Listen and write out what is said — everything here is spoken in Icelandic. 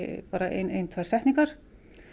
ein tvær setningar